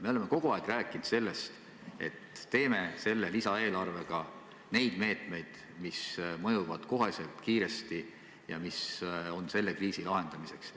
Me oleme kogu aeg rääkinud, et rakendame lisaeelarvega meetmeid, mis mõjuvad kohe, kiiresti ja mis on mõeldud kriisi lahendamiseks.